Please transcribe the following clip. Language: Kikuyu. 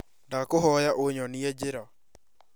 Ndakũhoya ũnyonie njĩra